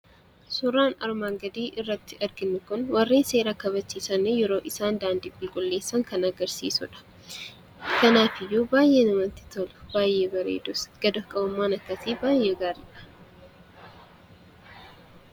Suuraan armaan gadii irratti arginu kun, warri seera kabachiisan yeroo isaan daandii qulqulleessan kan agarsiisudha. Kanaafiyyuu baayyee namatti tolu. Baayyee bareedus gad of qabummaan akkasii baayyee gaariidha.